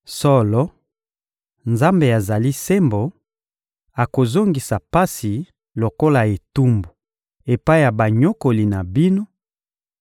Solo, Nzambe azali sembo: akozongisa pasi lokola etumbu epai ya banyokoli na bino;